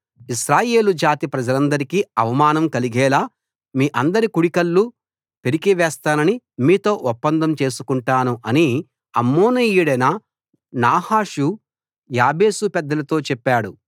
ఇశ్రాయేలు జాతి ప్రజలందరికీ అవమానం కలిగేలా మీ అందరి కుడి కళ్ళు పెరికివేస్తానని మీతో ఒప్పందం చేసుకుంటాను అని అమ్మోనీయుడైన నాహాషు యాబేషు పెద్దలతో చెప్పాడు